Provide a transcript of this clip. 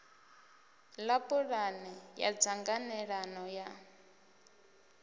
ḽa pulane ya ṱhanganelano ya